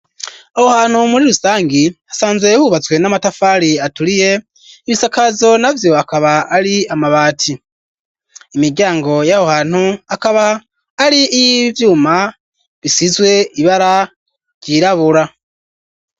Aho hantu muri rusangi hasanzwe hubatswe n'amatafari aturiye ibisakazo na vyo akaba ari amabati, imiryango y'aho hantu akaba ari iy'ivyuma bisizwe ibara ryirabura.